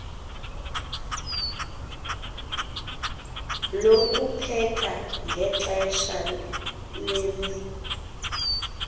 lokupheka ngexesha lemea